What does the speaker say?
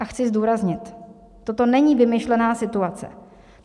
A chci zdůraznit, toto není vymyšlená situace.